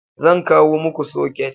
Zan kawo muku soket